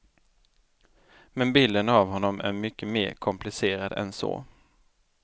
Men bilden av honom är mycket mer komplicerad än så.